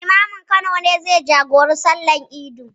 Limamin Kano ne zai jagoranci sallar idin.